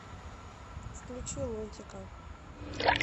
включи лунтика